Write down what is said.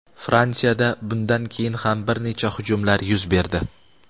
Fransiyada bundan keyin ham bir necha hujumlar yuz berdi.